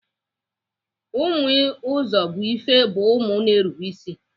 Ụmụ Uzọbuife bụ ụmụ na-erube ịsị